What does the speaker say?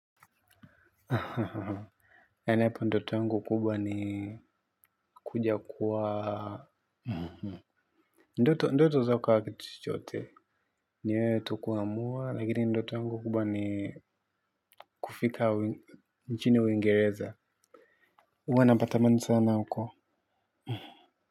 Nadhania ndoto yangu kubwa ni kuja kuoa ndoto zakuwa kitu chochote wewe ndo kuamua lakini mimi ndoto yangu ni kufika uingereza huwa natamani sana huko.